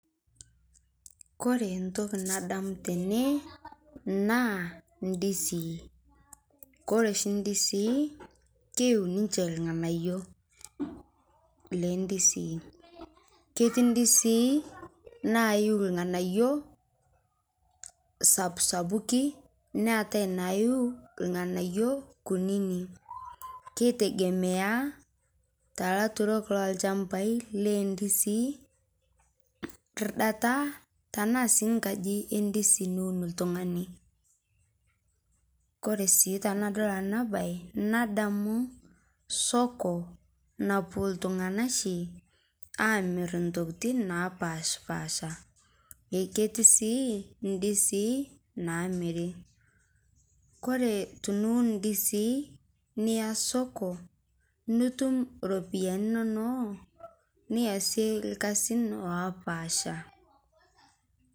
Kore ntokii nadamuu tene naa ndisii. Kore shii ndisii keiyuu ninchee ilng'anaiyo le ndisii. Ketii ndisii naiyuu lng'anaiyo sapusapuki neetai naiyuu lng'anaiyo kunini. Keitegemea ta laaturok lo lchambai le ndisii kirrdataa tana sii nkaaji endisii niuun ltung'ana. Kore sii tanadol ana bayi nadamu soko napoo ltung'ana shii amiir ntokitin napashpasha. Eeh ketii sii ndiisi namiiri. Kore tiniuun ndisii niyaa soko nituum ropiani enono niasie lkaasin lopaasha.